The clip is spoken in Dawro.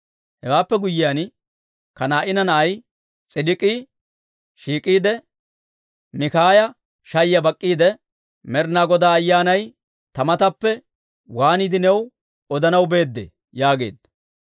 Hewaappe guyyiyaan, Kanaa'ina na'ay S'idik'ii shiik'iide, Mikaaya shayiyaa bak'k'iide, «Med'inaa Godaa Ayyaanay ta matappe waaniide new odanaw beedee?» yaageedda.